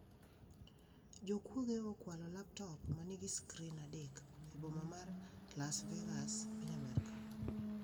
Jokuoge okwalo laptop manigi skrin adek e boma mar Las Vegas, piny Amerka